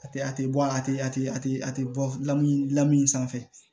A tɛ a tɛ bɔ a tɛ a tɛ a tɛ a tɛ bɔ lamini lamini in sanfɛ